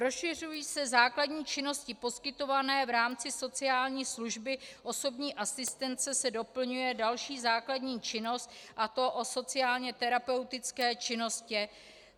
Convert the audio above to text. Rozšiřují se základní činnosti poskytované v rámci sociální služby, osobní asistence se doplňuje další základní činnost, a to o sociálně terapeutické činnosti.